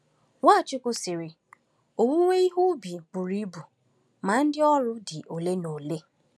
Nwachukwu sịrị: “Owewe ihe ubi buru ibu, ma ndị ọrụ dị ole na ole.